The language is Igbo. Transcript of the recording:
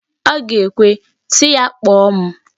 Ọ ga-ekwe, sị ya kpọọ m.